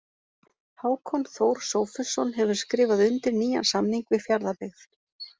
Hákon Þór Sófusson hefur skrifað undir nýjan samning við Fjarðabyggð.